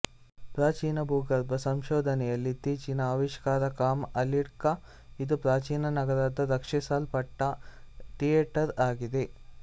ಪ್ರಾಚೀನ ಭೂಗರ್ಭ ಸಂಶೋಧನೆಯಲ್ಲಿ ಇತ್ತೀಚಿನ ಆವಿಷ್ಕಾರ ಕಾಮ್ ಅಲ್ಡಿಕ್ಕ ಇದು ಪ್ರಾಚೀನ ನಗರದ ರಕ್ಷಿಸಲ್ಪಟ್ಟ ಥಿಯೇಟರ್ ಆಗಿದೆ